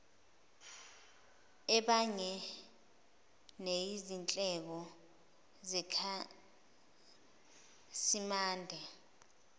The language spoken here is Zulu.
ebhange neyizindleko zekhasimende